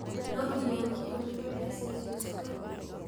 No nginya ũmũtũmĩre mbeca icio ciothe?